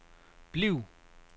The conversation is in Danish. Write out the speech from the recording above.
bliv